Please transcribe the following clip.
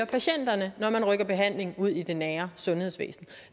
patienterne når man rykker behandling ud i det nære sundhedsvæsen